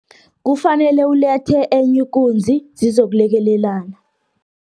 Kufanele ulethe enye ikunzi, zizokulekelelana.